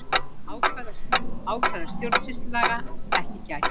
Ákvæða stjórnsýslulaga ekki gætt